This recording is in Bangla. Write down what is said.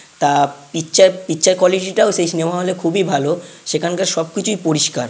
তা পিকচার পিকচার কোয়ালিটি টাও সেই সিনেমা হল -এ খুবই ভালো। সেখানকার সবকিছুই পরিষ্কার।